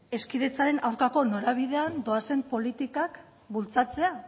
hezkidetzaren aurkako norabidean doazen politikak bultzatzea